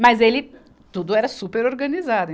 Mas ele, tudo era super organizado.